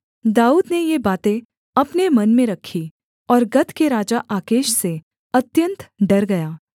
दाऊद ने ये बातें अपने मन में रखीं और गत के राजा आकीश से अत्यन्त डर गया